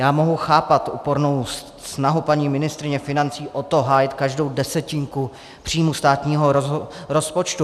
Já mohu chápat úpornou snahu paní ministryně financí o to hájit každou desetinku příjmu státního rozpočtu.